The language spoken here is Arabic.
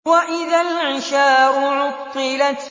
وَإِذَا الْعِشَارُ عُطِّلَتْ